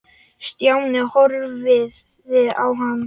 Stjáni horfði á hann.